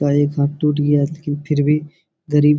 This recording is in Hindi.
और एक हाथ टूट गया है लेकिन फिर भी गरीब --